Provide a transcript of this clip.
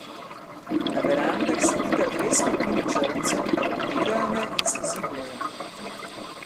Na verandah sedita dve skupini črncev, gledajo me in se zibljejo.